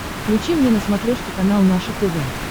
включи мне на смотрешке канал наше тв